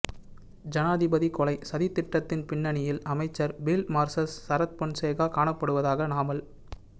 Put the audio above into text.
ஜனாதிபதி கொலை சதித் திட்டத்தின் பின்னணியில் அமைச்சர் பீல்ட் மார்ஸல் சரத் பொன்சேகா காணப்படுவதாக நாமல்